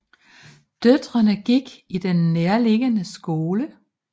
Døtrene gik i den nærliggende skole